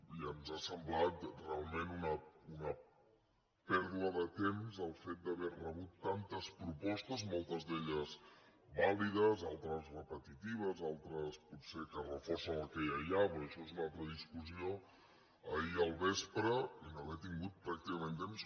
i ens ha semblat realment una pèrdua de temps el fet d’haver rebut tantes propostes moltes d’elles vàlides altres repetitives altres potser que reforcen el que ja hi ha perquè això és una altra discussió ahir al vespre i no haver tingut pràcticament temps